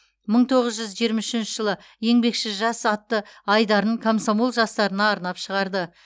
мың тоғыз жүз жиырма үшінші жылы еңбекші жас атты айдарын комсомол жастарына арнап шығарды